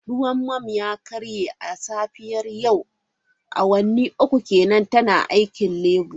Ruwan mum ya karye a safiyar yau, awanni uku kenan tana aikin Labour.